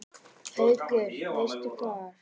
Haukur: Veistu hvar?